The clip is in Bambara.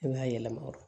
I bɛ yɛlɛma